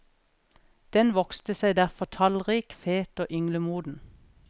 Den vokste seg derfor tallrik, fet og ynglemoden.